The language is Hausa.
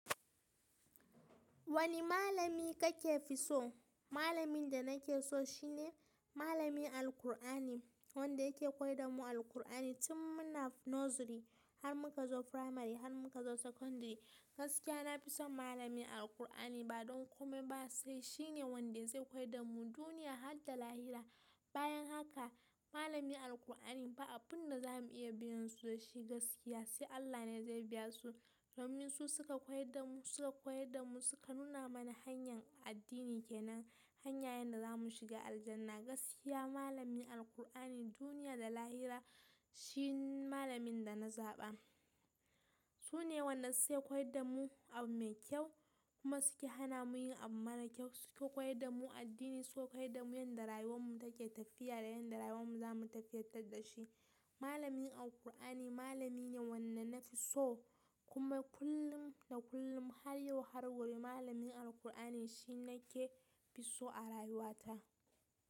Wane malami kake fi so? Malamin da na ke so shine malamin Alqur'ani, wanda yake koyar da mu Alqur'ani tun muna nursery har muka zo primary har muka zo secondary. Gaskiya na fi son malamin Alqur'ani ba don kome ba, sai shine wanda zai koyar da mu duniya har da lahira. Bayan haka malamin Alqur'ani ba abin da za mu iya biyan su da shi gaskiya, sai Allah ne zai biya su. Domin su sukan suka koyar da mu, suka nuna mana hanyar addini kenan, hanyar yadda za mu shiga Aljannah. Gaskiya malamin Alqur'ani duniya da lahira shi ne malamin da na zaɓa. Su ne wanda suke koyar da mu abu mai kyau kuma suke hana mu yin abu mara kyau. Suke koyar da mu addini, suke koyar da mu yanda rayuwar mu take tafiya da yanda rayuwar mu za mu tafiyatar da shi. Malamin Alqur'ani malami ne wanda na fi so kuma kullum da kullum har yau har gobe malamin Alqur'ani shine nake fi so a rayuwa ta.